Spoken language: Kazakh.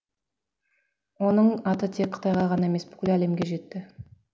оның аты тек қытайға ғана емес бүкіл әлемге жетті